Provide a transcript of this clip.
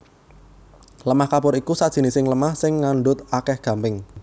Lemah kapur iku sajinising lemah sing ngandhut akèh gamping